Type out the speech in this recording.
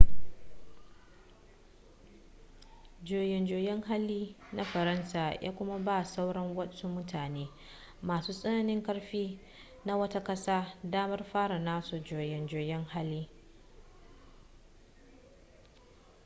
juyin juya hali na faransa ya kuma ba sauran wasu mutane masu tsananin karfi na wata ƙasa damar fara nasu juyin juya halin